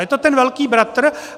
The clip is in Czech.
Je to ten velký bratr.